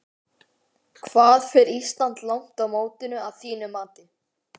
Hvað fer Ísland langt á mótinu að þínu mati?